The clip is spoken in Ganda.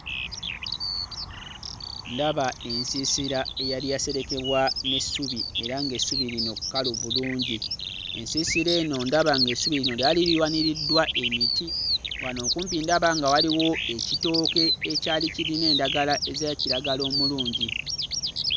Ndaba ensiisira eyali yaserekebwa n'essubi era ng'essubi lino kkalu bulungi. Ensiisira eno ndaba ng'essubi lino lyali liwaniririddwa emiti, wano kumpi ndaba nga waliwo ekitooke ekyali kirina endagala eza kiragala omulungi.